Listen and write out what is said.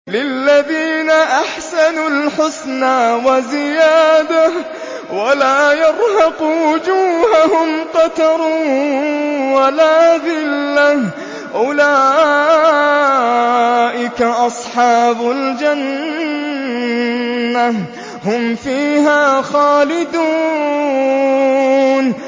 ۞ لِّلَّذِينَ أَحْسَنُوا الْحُسْنَىٰ وَزِيَادَةٌ ۖ وَلَا يَرْهَقُ وُجُوهَهُمْ قَتَرٌ وَلَا ذِلَّةٌ ۚ أُولَٰئِكَ أَصْحَابُ الْجَنَّةِ ۖ هُمْ فِيهَا خَالِدُونَ